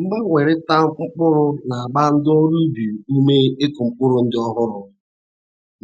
Mgbanwerita mkpụrụ na-agba ndi ọrụ ubi ume ikụ mpụrụ ndị ọhụrụ